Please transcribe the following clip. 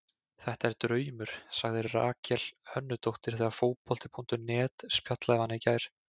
Þetta er draumur, sagði Rakel Hönnudóttir þegar Fótbolti.net spjallaði við hana í gær.